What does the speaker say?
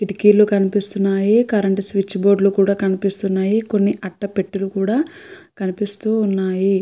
కిటికీలు కనిపిస్తున్నాయి current switch board లో కనిపిస్తున్నాయి. కొన్ని అట్ట పెట్టెలు కూడా కనిపిస్తూ ఉన్నాయి.